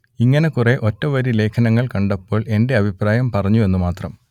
ഇങ്ങനെ കുറെ ഒറ്റവരി ലേഖനങ്ങൾ കണ്ടപ്പോൾ എന്റെ അഭിപ്രായം പറഞ്ഞു എന്നു മാത്രം